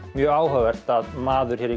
mjög áhugavert að maður hér í